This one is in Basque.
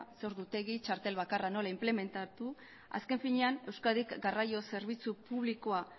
zein ordutegi txartel bakarra nola implementatu azken finean euskadik garraio zerbitzu publikoa